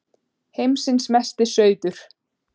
Heimsins Mesti Sauður!